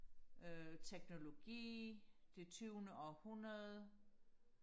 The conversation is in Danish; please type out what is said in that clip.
øh teknologi det tyvende århundrede